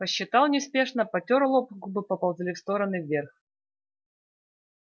посчитал неспешно потёр лоб губы поползли в стороны вверх